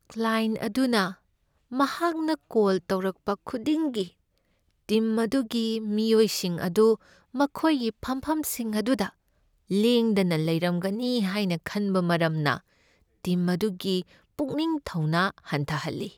Client ꯑꯗꯨꯅ ꯃꯍꯥꯛꯅ call ꯇꯧꯔꯛꯄ ꯈꯨꯗꯤꯡꯒꯤ ꯇꯤꯝ ꯑꯗꯨꯒꯤ ꯃꯤꯑꯣꯏꯁꯤꯡ ꯑꯗꯨ ꯃꯈꯣꯏꯒꯤ ꯐꯝꯐꯝꯁꯤꯡ ꯑꯗꯨꯗ ꯂꯦꯡꯗꯅ ꯂꯩꯔꯝꯒꯅꯤ ꯍꯥꯏꯅ ꯈꯟꯕ ꯃꯔꯝꯅ ꯇꯤꯝ ꯑꯗꯨꯒꯤ ꯄꯨꯛꯅꯤꯡ ꯊꯧꯅꯥ ꯍꯟꯊꯍꯜꯂꯤ ꯫